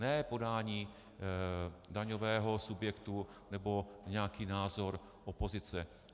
Ne podání daňového subjektu nebo nějaký názor opozice.